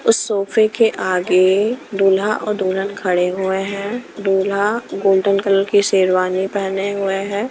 उस सोफे के आगे दूल्हा और दुल्हन खडे हुए है दूल्हा गोल्डन कलर की शेरवानी पहने हुए है।